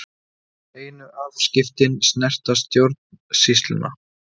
Einu afskiptin snerta stjórnsýsluna